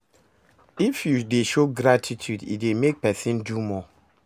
If you de show gratitude e dey make persin do more